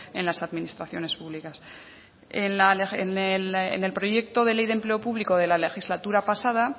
en las administraciones públicas en el proyecto de ley de empleo público de la legislatura pasada